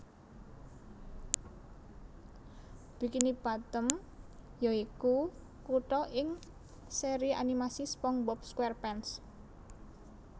Bikini Bottom ya iku kutha ing seri animasi SpongeBob SquarePants